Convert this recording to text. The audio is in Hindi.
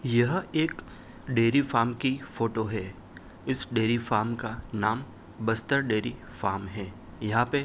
यह एक डेरी फार्म की फोटो है। इस डेरी फार्म का नाम बस्तर डेरी फार्म है। यहाँ पे --